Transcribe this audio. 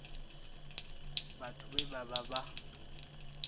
vhathu vhe vha vha vha